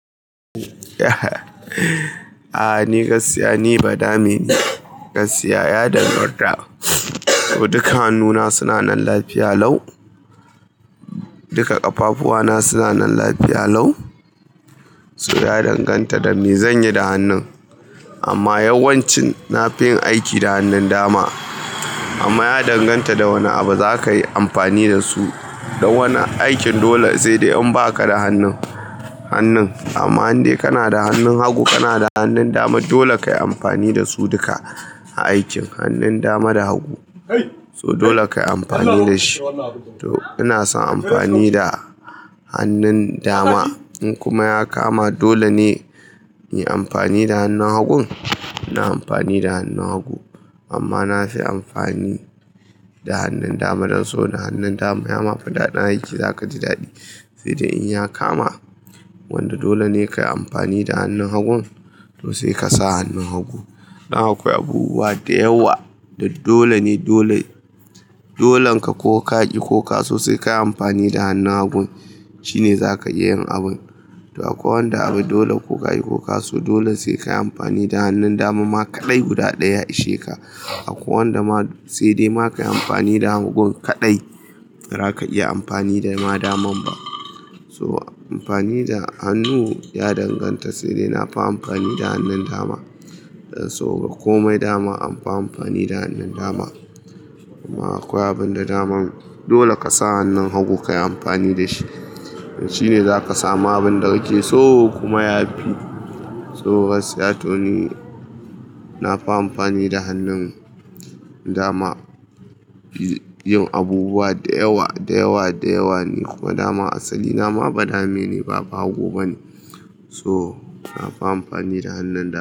A'a ni gaskiya ni ba dame ne. Gaskiya, ya danganta. Duka hannuna suna nan lafiya lau. Duka ƙafafuwana suna nan lafiya lau. So ya danganta da me zanyi da hannun. Amma yawancin nafi yin aiki da hannun dama. Amma ya danganta da wane abu zakayi amfani da su. Da wani aikin dole sai dai in baka da hannun, hannun. Amma indai kana da hannun hagu, kana da hannun dama dole kayi amfani da su duka a aikin hannun dama da hagu. So dole kayi amfani da shi. To ina son amfani da hannun dama in kuma ya kama dole ne inyi amfani da hannun hagun, ina amfani da hannun hagu. Amma nafi amfani da hannun dama don saboda hannun dama yama fi daɗin aiki zakaji daɗi. Sai dai in ya kama wanda dole ne kayi amfani da hannun hagun to sai kasa hannun hagu. Dan akwai abubuwa da yawa da dole ne dole dolen ka ko ka ki ko ka so sai kayi amfani da hannun hagun shine zaka iya yin abun. To akwai wanda abu dole ko kayi ko ka so dole sai kayi amfani da hannun dama ma kaɗai guda ɗaya ya ishe ka. Akwai wanda ma sai dai ma kayi amfani da hagun kaɗai, ba ra ka iya amfani da ma daman ba. So amfani da hannu ya danganta. Sai dai na fi amfani da hannun dama. Dan so ga komai dama anfi amfani da hannun dama. Kuma akwai abin da daman dole kasa hannun hagu kayi amfani da shi, shine zaka sama abun da kake so kuma yafi. So gaskiya to ni nafi amfani da hannun dama yin abubuwa da yawa, da yawa, da yawa ne kuma dama asali na ma ba dame ne ba bahago bane. So nafi amfani da hannun dama.